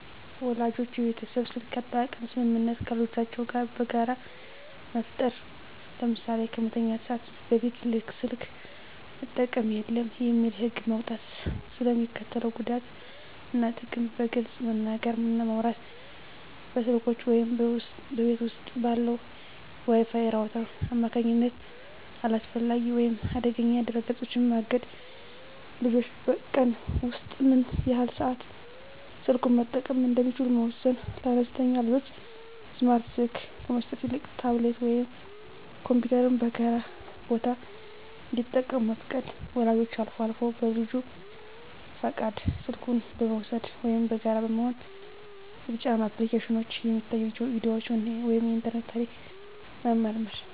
ወላጆች የቤተሰብ የስልክ አጠቃቀም ስምምነት ከልጆቻቸው ጋር በጋራ መፍጠር። ለምሳሌ "ከመተኛት ሰዓት በፊት ስልክ መጠቀም የለም" የሚል ህግ መውጣት። ስለ ሚስከትለው ጉዳት እና ጥቅም በግልፅ መነጋገር እና ማውራት። በስልኮች ወይም በቤት ውስጥ ባለው የWi-Fi ራውተር አማካኝነት አላስፈላጊ ወይም አደገኛ ድረ-ገጾችን ማገድ። ልጆች በቀን ውስጥ ምን ያህል ሰዓት ስልኩን መጠቀም እንደሚችሉ መወሰን። ለአነስተኛ ልጆች ስማርት ስልክ ከመስጠት ይልቅ ታብሌት ወይም ኮምፒውተርን በጋራ ቦታ እንዲጠቀሙ መፍቀድ። ወላጆች አልፎ አልፎ በልጁ ፈቃድ ስልኩን በመውሰድ (ወይም በጋራ በመሆን) የተጫኑ አፕሊኬሽኖች፣ የሚታዩ ቪዲዮዎች ወይም የኢንተርኔት ታሪክ መመርመር።